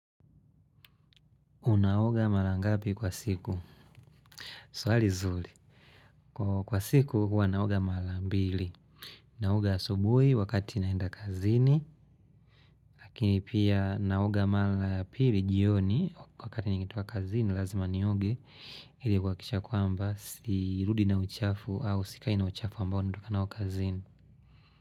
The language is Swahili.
Unaoga mara ngapi kwa siku? Swali zuri. Kwa siku huwa naoga mara mbili. Naoga asubuhi wakati naenda kazini. Lakini pia naoga mara ya pili jioni wakati nikitoka kazini lazima nioge. Ili kuhakisha kwamba sirudi na uchafu au sikai na uchafu ambao natoka nao kazini.